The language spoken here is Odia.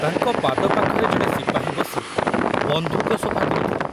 ତାଙ୍କ ପାଦ ପାଖରେ ଜଣେ ସିପାହୀ ବସି ବନ୍ଧୁକ ସଫା କରୁଥିଲା।